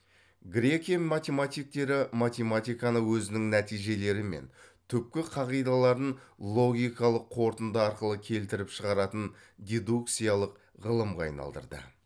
грекия математиктері математиканы өзінің нәтижелері мен түпкі қағидаларын логикалық қорытынды арқылы келтіріп шығаратын дедукциялық ғылымға айналдырды